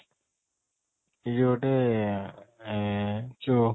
ଇଏ ଗୋଟେ ଏଁ ଯୋଉ